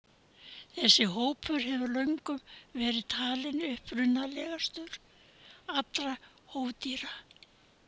Þessi hópur hefur löngum verið talinn upprunalegastur allra hófdýra.